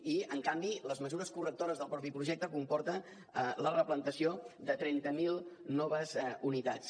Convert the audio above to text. i en canvi les mesures correctores del mateix projecte comporten la replantació de trenta mil noves unitats